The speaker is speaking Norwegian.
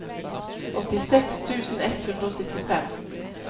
åttiseks tusen ett hundre og syttifem